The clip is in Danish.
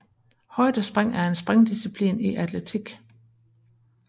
Højdespring er en springdisciplin i atletik